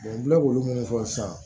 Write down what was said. n bɛ k'olu mun fɔ sisan